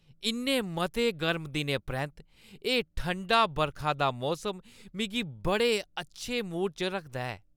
इन्ने मते गर्म दिनें परैंत्त, एह् ठंडा बरखा दा मौसम मिगी बड़े अच्छे मूड च रखदा ऐ।